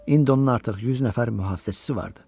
İndi onun artıq 100 nəfər mühafizəçisi vardı.